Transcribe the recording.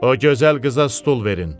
O gözəl qıza stul verin!